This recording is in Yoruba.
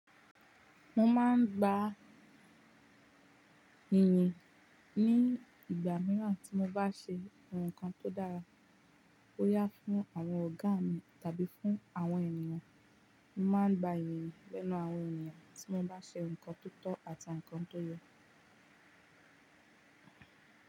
Mo máa ń gba ìyìn ní ìgbà mìíràn tí mo bá ṣe ohun kàn tó dára. Ó yá fún àwọn ọ̀gá mi tàbí fún àwọn ènìyàn. Mo máa ń gba ìyìn lẹ́nu àwọn ènìyàn tí mo bá ṣe nǹkan tó tọ́ àti nǹkan tó yẹ.